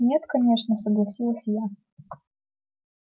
нет конечно согласилась я